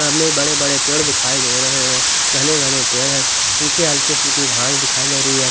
सामने बड़े बड़े पेड़ दिखाई दे रहे हैं घने घने पेड़ हैं पीछे हल्की फुल्की घास दिखाई दे रही है।